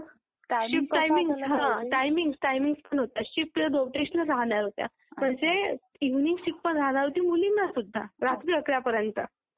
कुठे नाही राहत. नाही पण जिथे म्हटलं होतं की नाइट शिफ्ट राहतील तिथे पिकअप अँड ड्रॉपची सोय होती. नाइट शिफ्ट नाही राहणार, आठ पर्यंत राहतील तिथे पिकअप अँड ड्रॉपची सोय नव्हती.